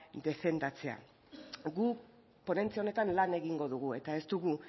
defendatzea guk ponentzia honetan lan egingo dugu eta ez dugu